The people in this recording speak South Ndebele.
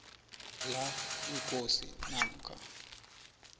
la ikosi namkha